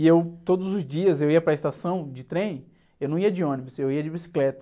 E eu, todos os dias, eu ia para estação de trem, eu não ia de ônibus, eu ia de bicicleta.